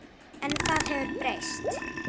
En það hefur breyst.